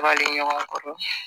Baliɲɔgɔn kɔrɔ